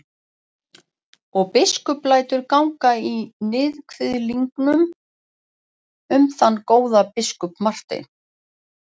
Og biskup lætur ganga í níðkviðlingum um þann góða biskup Martein.